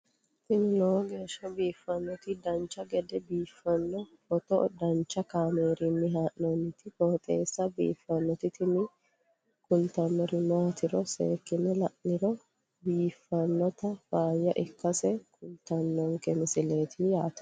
tini lowo geeshsha biiffannoti dancha gede biiffanno footo danchu kaameerinni haa'noonniti qooxeessa biiffannoti tini kultannori maatiro seekkine la'niro biiffannota faayya ikkase kultannoke misileeti yaate